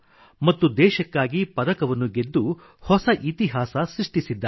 ಮತ್ತು ದೇಶಕ್ಕಾಗಿ ಪದಕವನ್ನು ಗೆದ್ದು ಹೊಸ ಇತಿಹಾಸ ಸೃಷ್ಟಿಸಿದ್ದಾರೆ